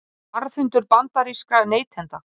Varðhundur bandarískra neytenda